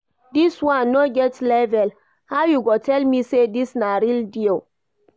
This one no get label, how you go tell me say this na real dior?